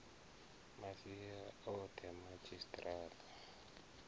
masia o the madzhisi tara